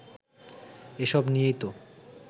এসব নিয়েই তো